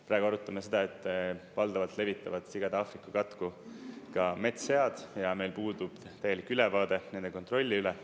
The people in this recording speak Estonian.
Praegu arutame seda, et valdavalt levitavad sigade Aafrika katku ka metssead ja meil puudub täielik ülevaade nende kontrolli üle.